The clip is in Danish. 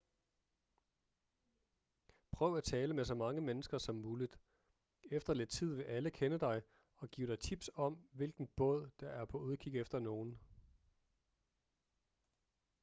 prøv at tale med så mange mennesker som muligt efter lidt tid vil alle kende dig og give dig tips om hvilken båd der er på udkig efter nogen